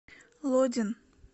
лодин